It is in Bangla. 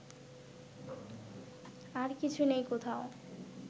আর কিছু নেই কোথাও